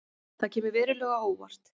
Það kemur verulega á óvart